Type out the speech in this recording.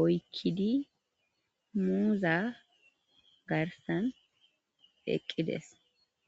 oykidi muuza garsan eqqides